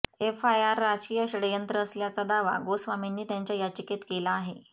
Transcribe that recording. FIR राजकीय षडयंत्र असल्याचा दावा गोस्वामींनी त्यांच्या याचिकेत केला आहे